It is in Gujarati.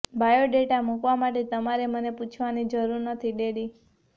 બાયોડેટા મુકવા માટે તમારે મને પૂછવાની જરૂર નથી ડેડી